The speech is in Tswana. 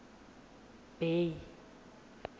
bay